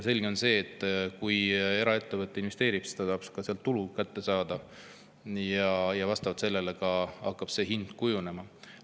Selge on see, et kui eraettevõte investeerib, siis ta tahab ka tulu kätte saada, ja vastavalt sellele hakkab hind kujunema.